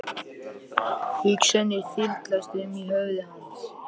Hugsanir þyrlast um í höfði hans.